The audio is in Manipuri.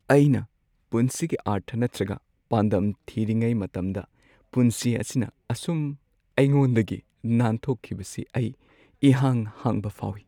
ꯑꯩꯅ ꯄꯨꯟꯁꯤꯒꯤ ꯑꯔꯊ ꯅꯠꯇ꯭ꯔꯒ ꯄꯥꯟꯗꯝ ꯊꯤꯔꯤꯉꯩ ꯃꯇꯝꯗ ꯄꯨꯟꯁꯤ ꯑꯁꯤꯅ ꯑꯁꯨꯝ ꯑꯩꯉꯣꯟꯗꯒꯤ ꯅꯥꯟꯊꯣꯛꯈꯤꯕꯁꯤ ꯑꯩ ꯏꯍꯥꯡ ꯍꯥꯡꯕ ꯐꯥꯎꯏ ꯫